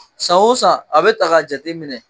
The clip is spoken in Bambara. San o san a bɛ ta ka jateminɛ